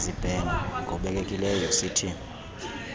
yezibheno ngobekekileyo uct